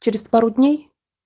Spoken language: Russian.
через пару дней